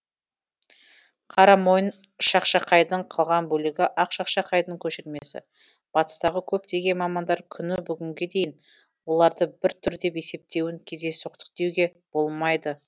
қарамойын шақшақайдың қалған бөлігі ақ шақшақайдың көшірмесі батыстағы көптеген мамандар күні бүгінге дейін оларды бір түр деп есептеуін кездейсоқтық деуге болмайды